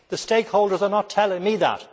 The stakeholders are not telling me that.